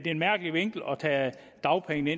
en mærkelig vinkling at tage dagpengene